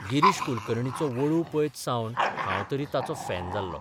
गिरीश कुलकर्णीचो 'वळू 'पळयत सावन हांव तरी ताचो फॅन जाल्लों.